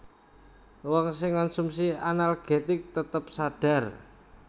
Wong sing ngonsumsi analgetik tetep sadhar